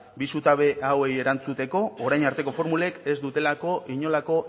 bi zutabe hauei erantzuteko orain arteko formulek ez dutelako inolako